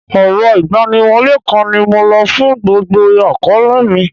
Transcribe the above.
Ọrọ̀ igbaniwole kan ni mo lo fún gbogbo akoole mi.